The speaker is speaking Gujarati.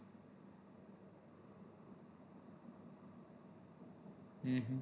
હમ